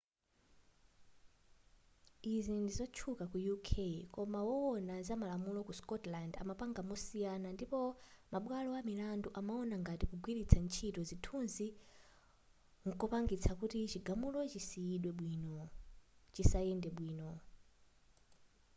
izi ndizotchuka ku uk koma wowona zamalamulo ku scotland amapanga mosiyana ndipo mabwalo amilandu amaona ngati kugwiritsa ntchito zithunzi nkopangisa kuti chigamulo chisayende bwino